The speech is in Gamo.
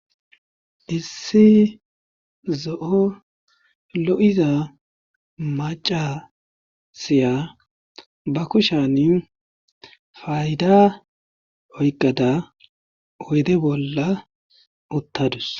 issi zo7o lo7iza macasiya ba kushan fayda oyqada oyde bolla uttadus